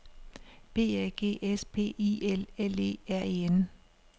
B A G S P I L L E R E N